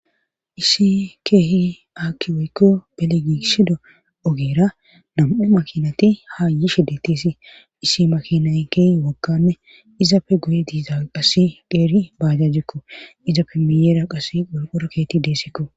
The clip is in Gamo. issi keehi aaki woykko beligisido ogera nam'u makinati hayishe detesi isi makinay keh wogganne izapfe guye diiza qasi qeeri baajajjekko izappe miyeera qas qolqoro keeti deessekko